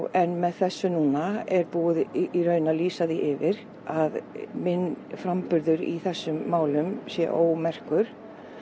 en með þessu núna er búið að lýsa því yfir að minn framburður í þessum málum sé ómerkur